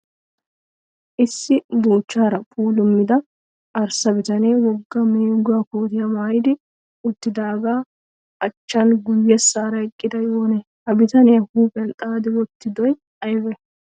Issi buuchchaara puulummida arssa bitanee wogga meeguwaa kootiya mayyidi uttidaagaa achchan guyyessaara eqqiday oonee? Ha bitanee huuphiyan xaaxi wottidoy ayibee?